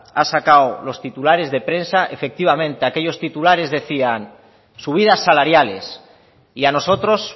ha sacado los titulares de prensa efectivamente aquellos titulares decían subidas salariales y a nosotros